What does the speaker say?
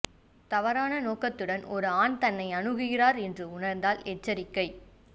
தவறான நோக்கத்துடன் ஒரு ஆண் தன்னை அணுகுகின்றார் என்று உணர்ந்தால் எச்சரிக்கை